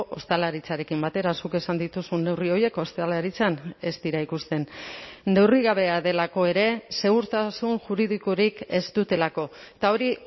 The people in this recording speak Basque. ostalaritzarekin batera zuk esan dituzun neurri horiek ostalaritzan ez dira ikusten neurrigabea delako ere segurtasun juridikorik ez dutelako eta hori